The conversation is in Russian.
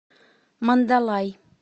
мандалай